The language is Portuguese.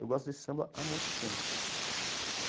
Eu gosto desse samba há muito tempo.